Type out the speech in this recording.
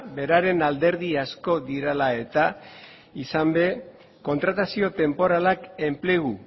beraren alderdi asko direla eta izan ere kontratazio tenporalak enplegu